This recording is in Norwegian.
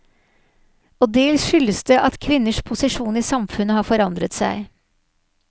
Og dels skyldes det at kvinners posisjon i samfunnet har forandret seg.